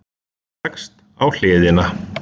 Leggst á hliðina.